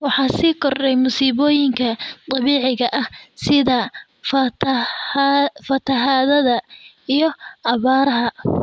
Waxaa sii kordhaya masiibooyinka dabiiciga ah sida fatahaadaha iyo abaaraha.